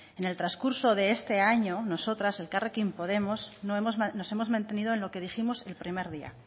en el transcurso de este año nosotras elkarrekin podemos nos hemos mantenido en lo que dijimos el primer día